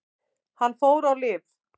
Hann fór á lyf.